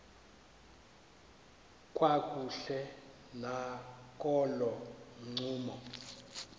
kakuhle nakolo ncumo